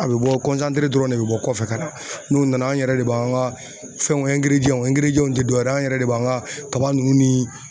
A bɛ bɔ dɔrɔn de bɛ bɔ kɔfɛ ka na n'u nana an yɛrɛ de b'an ka fɛnw u tɛ dɔwɛrɛ ye, an yɛrɛ de b'an ka kaba nunnu ni